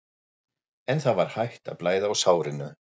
En það var hætt að blæða úr sárinu.